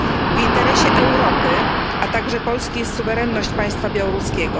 W interesie Europy, a także Polski jest suwerenność państwa białoruskiego.